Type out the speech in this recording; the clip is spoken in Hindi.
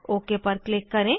ओक पर क्लिक करें